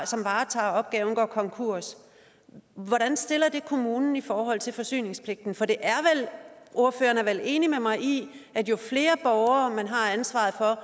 som varetager opgaven går konkurs hvordan stiller det så kommunen i forhold til forsyningspligten ordføreren er vel enig med mig i at jo flere borgere man har ansvaret for